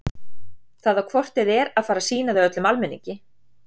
Það á hvort eð er að fara að sýna þau öllum almenningi.